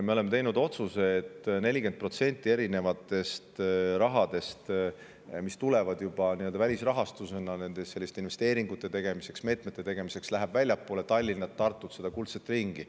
Me oleme teinud otsuse, et 40% rahast, mis tuleb juba välisrahastusena investeeringute tegemiseks ja meetmeteks, läheb väljapoole Tallinna ja Tartut ehk kuldset ringi.